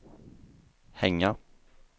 hänga